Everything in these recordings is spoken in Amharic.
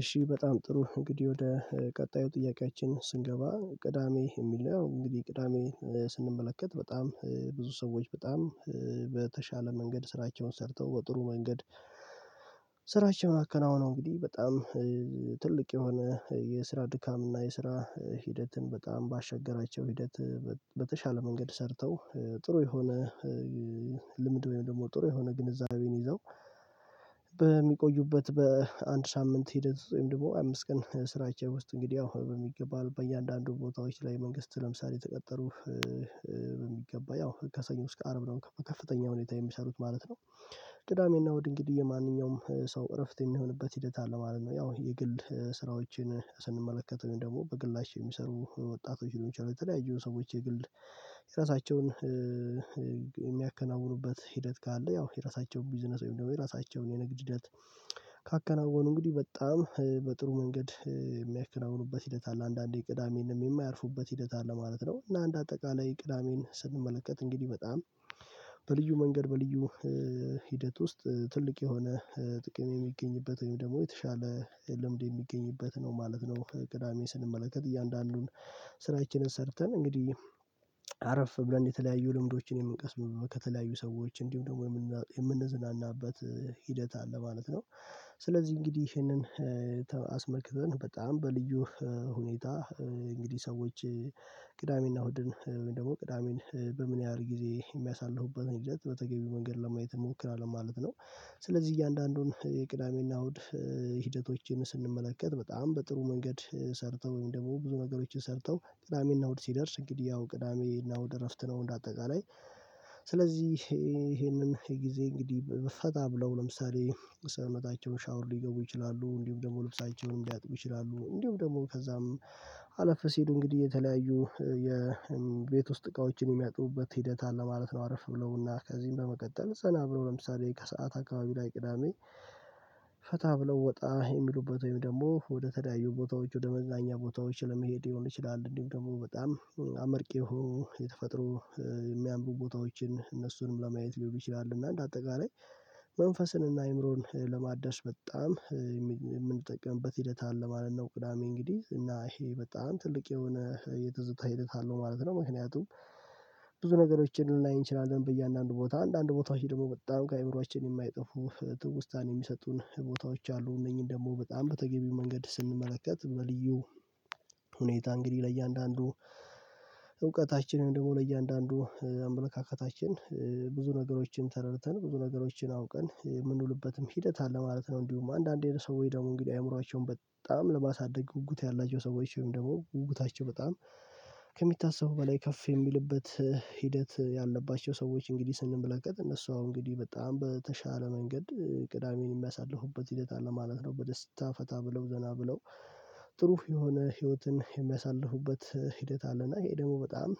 እሺ በጣም ጥሩ እንግዲህ ወደ ቀጣዩ ጥያቄያችን ስንገባ ቅዳሜ የሚለው እንግዲህ ቅዳሜ ስንመለከት በጣም ብዙ ሰዎች በጣም በተሻለ መንገድ ስራቸውን ሰርተው በጥሩ መንገድ ስራቸዉን አከናዉነው እንግዲህ በጣም ትልቅ የሆነ የስራ ድካም እና የስራ ሂደትን በጣም ባሸገራቸው ሂደት በተሻለ መንገድ ሰርተው ጥሩ የሆነ ልምድ ወይም ደግሞ ጥሩ የሆነ ግንዛቤን ይዘው በሚቆዩበት በአንድ ሳምንት ሂደት ወይም ደግሞ አምስት ቀን ስራቸው ውስጥ እንግዲህ ያው በሚገባው በእያንዳንዱ ቦታዎች ላይ መንግስት ለምሳሌ የተቀጠሩ በሚገባ ያው ከሰኞ እስከ አርብ ነው ከፍተኛ ሁኔታ የሚሰሩት ማለት ነው። ቅዳሜና እሁድ እንግዲ የማንኛውም ሰው እረፍት የሚሆንበት ሂደት አለ ማለት ነው ያው የግል ስራዎችን ስንመለከት ወይም ደግሞ በግላቸው የሚሰሩ ወጣቶች ሊሆኑ ይችላሉ። የተለያዩ ሰዎች የግል የራሳቸውን የሚያከናውኑበት ሂደት ካለ ያው የራሳቸውን ቢዝነስ ወይም ደግሞ የራሳቸውን የንግድ ሂደት ካከናወኑ እንግዲህ በጣም በጥሩ መንገድ የሚያከናውኑበት ሂደት አለ አንዳንዴ ቅዳሜንም የማያርፉበት ሂደት አለ ማለት ነው። እና እንደ አጠቃላይ ቅዳሜን ስንመለከት እንግዲህ በጣም በልዩ መንገድ በልዩ ሂደት ውስጥ ትልቅ የሆነ ጥቅም የሚገኝበት ወይም ደግሞ የተሻለ ልምድ የሚገኝበት ነው ማለት ነው። ቅዳሜ ስንመለከት እያንዳንዱን ስራችንን ሰርተን እንግዲህ አረፍ ብለን የተለያዩ ልምዶችን የምንቀስምበት ከተለያዩ ሰዎች እንዲሁም ደግሞ የምንዝናናበት ሂደት አለ ማለት ነው። ስለዚህ እንግዲህ ይሄንን አስመልክተን በጣም በልዩ ሁኔታ እንግዲህ ሰዎች ቅዳሜና እሁድን ወይም ደግሞ ቅዳሜን በምን ያህል ጊዜ የሚያሳልፉበት ሂደት በተገቢው መንገድ ለማየት እንሞክራለን ማለት ነው። ስለዚህ እያንዳንዱን የቅዳሜና እሁድ ሂደቶችን ስንመለከት በጣም በጥሩ መንገድ ሰርተው ወይም ደግሞ ብዙ ነገሮችን ሰርተው ቅዳሜና እሁድ ሲደርስ እንግዲህ ያው ቅዳሜና እሁድ እረፍት ነው እንደ አጠቃላይ። ስለዚህ ይሄንን የጊዜ እንግዲህ ፈታ ብለው ለምሳሌ የሰውነታቸውን ሻወር ሊገቡ ይችላሉ እንዲሁም ደግሞ ልብሳቸዉን ሊያጥቡ ይችላሉ እንዲሁም ደግሞ ከዛም አለፈ ሲል እንግዲህ የተለያዩ የቤት ውስጥ እቃዎችን የሚያጥቡበት ሂደት አለ ማለት ነው። አረፍ ብለዉና ከዚህም በመቀጠል ዘና ብለው ለምሳሌ ከሰአት አካባቢ ላይ ቅዳሜ ፈታ ብለው ወጣ የሚሉበት ወይም ደግሞ ወደ ተለያዩ ቦታዎች ወደ መዝናኛ ቦታዎች ለመሄድ ሊሆን ይችላል እንዲሁም ደግሞ በጣም አመርቂ የሆኑ የተፈጠሮ የሚያምሩ ቦታዎችን እነሱንም ለማየት ሊሆኑ ይችላል እና እንደ አጠቃላይ መንፈስን እና አይምሮን ለማዳስ በጣም የምንጠቀምበት ሂደት አለ ማለት ነው። ቅዳሜ እንግዲህ እና ይሄ በጣም ትልቅ የሆነ የትዝታ ሂደት አለው ማለት ነው። ምክንያቱም ብዙ ነገሮችን ልናይ እንችላለን በእያንዳንዱ ቦታ አንዳንድ ቦታዎች ደግሞ በጣም ከአይምሮአችን የማይጠፉ ትውስታን የሚሰጡን ቦታዎች አሉ እነኚህን ደግሞ በጣም በተገቢው መንገድ ስንመለከት በልዩ ሁኔታ እንግዲህ ለእያንዳንዱ እውቀታችንን ደግሞ ለእያንዳንዱ አመለካከታችን ብዙ ነገሮችን ተረድተን ብዙ ነገሮችን አውቀን የምንውልበትም ሂደት አለ ማለት ነው። እንዲሁም አንዳንዴ ሰዎች ደግሞ እንግዲህ አይምሮአቸውን በጣም ለማሳደግ ጉጉት ያላቸው ሰዎች ወይም ደግሞ ጉጉታቸው በጣም ከሚታሰቡ በላይ ከፍ የሚልበት ሂደት ያለባቸው ሰዎች እንግዲህ ስንመለከት እነሱ አሁን እንግዲህ በጣም በተሻለ መንገድ ቅዳሜን የሚያሳልፉበት ሂደት አለ ማለት ነው። በደስታ ፈታ ብለው ዘና ብለው ጥሩ የሆነ ህይወትን የሚያሳልፉበት ሂደት አለና ይሄ ደግሞ በጣም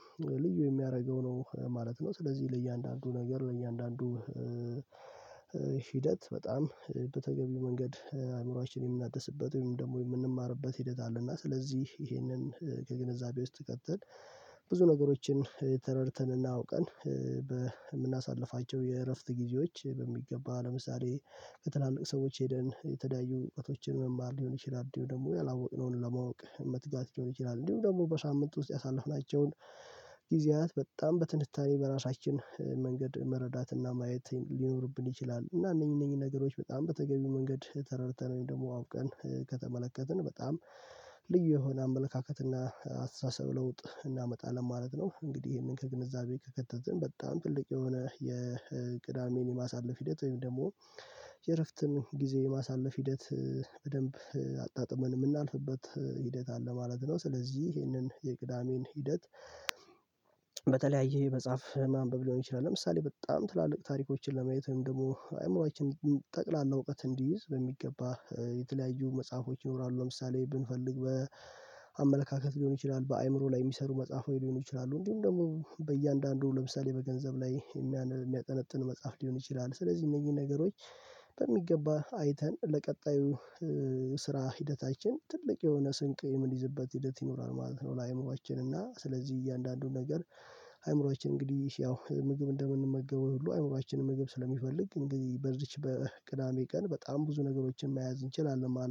ልዩ የሚያደርገው ነው ማለት ነው። ስለዚህ ለእያንዳንዱ ነገር ለእያንዳንዱ ሂደት በጣም በተገቢው መንገድ አእምሮአችን የምናደስበት ወይም ደግሞ የምንማርበት ሂደት አለ እና ስለዚህ ይሄንን ከግንዛቤ ውስጥ ከተን ብዙ ነገሮችን ተረድተን እና አውቀን በምናሳልፋቸው የእረፍት ጊዜዎች በሚገባ ለምሳሌ ከትላልቅ ሰዎች ሄደን የተለያዩ እውቀቶችን መማር ሊሆን ይችላል እንዲሁ ደግሞ ያላወቅነውን ለማወቅ መትጋት ሊሆን ይችላል እንዲሁ ደግሞ በሳምንቱ ውስጥ ያሳለፍናቸውን ጊዜያት በጣም በትንታኔ በራሳችን መንገድ መረዳትና ማየት ሊኖርብን ይችላል። እና እነኚህ እነኚህ ነገሮች በጣም በተገቢው መንገድ ተረድተን ወይም ደግሞ አውቀን ከተመለከትን በጣም ልዩ የሆነ አመለካከት እና አስተሳሰብ ለውጥ እናመጣለን ማለት ነው። እንግዲህ ይሄንን ከግንዛቤ ከከተትን በጣም ትልቅ የሆነ የቅዳሜን የማሳለፍ ሂደት ወይም ደግሞ የእረፍትን ጊዜ ማሳለፍ ሂደት በደንብ አጣጥመን የምናልፍበት ሂደት አለ ማለት ነው። ስለዚህ ይሄንን የቅዳሜን ሂደት በተለያየ መጽሐፍ ማንበብ ሊሆን ይችላል ለምሳሌ በጣም ትላልቅ ታሪኮችን ለማየት ወይም ደግሞ አይምሮአችን ጠቅላላ እውቀት እንዲይዝ በሚገባ የተለያዩ መጽሐፎች ይኖራሉ ለምሳሌ ብንፈልግ በአመለካከት ሊሆን ይችላል በአይምሮ ላይ የሚሰሩ መጽሐፍ ሊሆን ይችላሉ እንዲሁም ደግሞ በእያንዳንዱ ለምሳሌ በገንዘብ ላይ የሚያጠነጥን መጽሐፍ ሊሆን ይችላል ስለዚህ እነዚህ ነገሮች በሚገባ አይተን ለቀጣዩ ስራ ሂደታችን ትልቅ የሆነ ስንቅ የምንይዝበት ሂደት ይኖራል ማለት ነው። ለአይምሮአችን እና ስለዚህ እያንዳንዱን ነገር አይምሮአችን እንግዲህ ያው ምግብ እንደምንመገበው ሁሉ አይምሮአችንም ምግብ ስለሚፈልግ እንግዲህ በዚች በቅዳሜ ቀን በጣም ብዙ ነገሮችን መያዝ እንችላለን ማለት